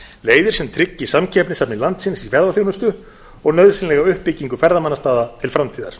leiðir sem tryggi samkeppnishæfni landsins í ferðaþjónustu og nauðsynlega uppbyggingu ferðamannastaða til framtíðar